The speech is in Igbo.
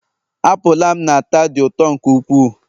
apụl a m na-ata dị ụtọ nke ukwuu